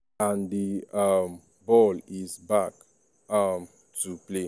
an di um ball is back um to play.